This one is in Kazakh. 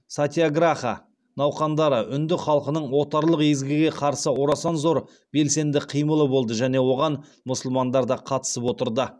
сатьяграха науқандары үнді халқының отарлық езгіге қарсы орасан зор белсенді қимылы болды және оған мұсылмандар да қатысып отырды